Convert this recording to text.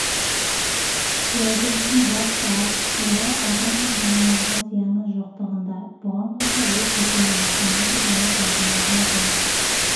реагенттің басты артықшылығы адам мен жануарларға зияны жоқтығында бұған қоса ол көшені ластамайды және тайғанауға жол